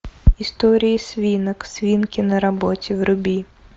истории свинок свинки на работе вруби